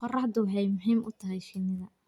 Qorraxdu waxay muhiim u tahay shinnida.